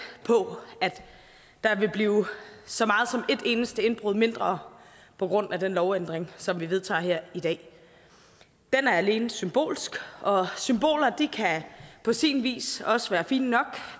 på at der vil blive så meget som et eneste indbrud mindre på grund af den lovændring som vi vedtager her i dag den er alene symbolsk og symboler kan på sin vis også være fine nok